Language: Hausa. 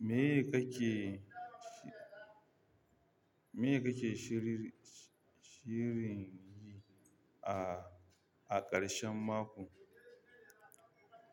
Me kake, me kake shirir, shirin yi a, a ƙarshen mako?